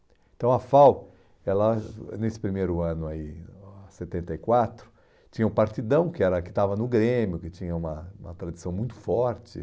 Então a FAU, ela, nesse primeiro ano aí, setenta e quatro, tinha o Partidão, que era que estava no Grêmio, que tinha uma uma tradição muito forte.